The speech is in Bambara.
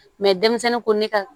denmisɛnnin ko ne ka